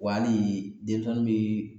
Wa hali denmisɛnnin bi